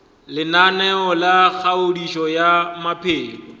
lenaneo la kgodišo ya maphelo